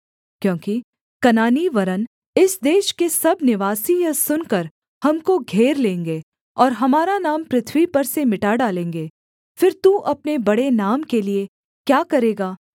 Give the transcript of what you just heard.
क्योंकि कनानी वरन् इस देश के सब निवासी यह सुनकर हमको घेर लेंगे और हमारा नाम पृथ्वी पर से मिटा डालेंगे फिर तू अपने बड़े नाम के लिये क्या करेगा